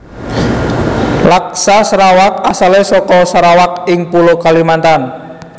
Laksa Serawak asale saka Sarawak ing pulo Kalimantan